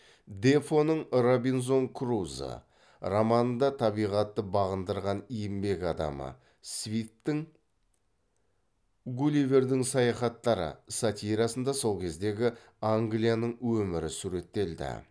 дефоның робинзон крузо романында табиғатты бағындырған еңбек адамы свифттің гулливердің саяхаттары сатирасында сол кездегі англияның өмірі суреттелді